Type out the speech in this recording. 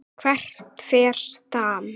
Hvert fer Stam?